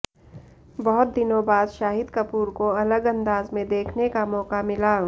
बहुत दिनों बाद शाहिद कपूर को अलग अंदाज में देखने का मौका मिला